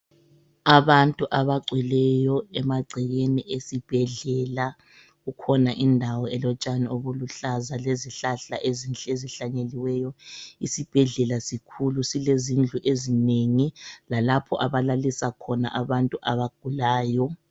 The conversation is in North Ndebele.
Abantu abagcweleyo emagcekeni esibhedlela kukhona indawo elotshani obuluhlaza lezihlahla ezinhle ezihlanyeliweyo isibhedlela sikhulu silezindlu ezinengi lalapho abalalisa khona abantu abagulayo.